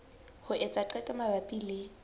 ho etsa qeto mabapi le